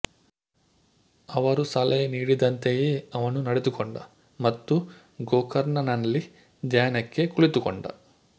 ಅವರು ಸಲಹೆ ನೀಡಿದಂತೆಯೇ ಅವನು ನಡೆದುಕೊಂಡ ಮತ್ತು ಗೋಕರ್ಣಂನಲ್ಲಿ ಧ್ಯಾನಕ್ಕೆ ಕುಳಿತುಕೊಂಡ